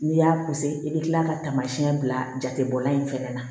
N'i y'a i bɛ kila ka taamasiyɛn bila jate bɔla in fɛnɛ na